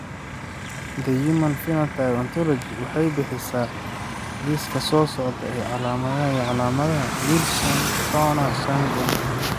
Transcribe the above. The Human Phenotype Ontology waxay bixisaa liiska soo socda ee calaamadaha iyo calaamadaha Wilson Turner syndrome.